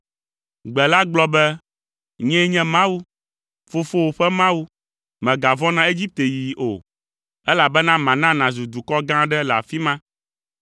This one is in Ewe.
Gbe la gblɔ be, “Nyee nye Mawu, fofowò ƒe Mawu, mègavɔ̃ na Egipte yiyi o, elabena mana nàzu dukɔ gã aɖe le afi ma.